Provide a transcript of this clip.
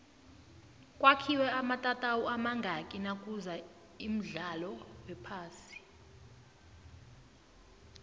kwakhiwe amatatawu amazngaki nakuza imdlalo wephasi